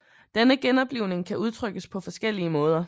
Denne genoplivning kan udtrykkes på forskellige måder